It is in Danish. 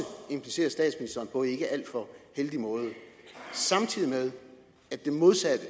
implicerer statsministeren på en ikke alt for heldig måde samtidig med at det modsatte